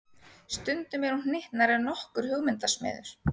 Stundum er hún hnyttnari en nokkur hugmyndasmiður.